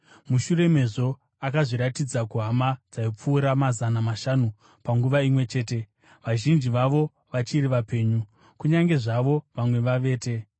Mushure mezvo akazviratidza kuhama dzaipfuura mazana mashanu panguva imwe chete, vazhinji vavo vachiri vapenyu, kunyange zvazvo vamwe vavete.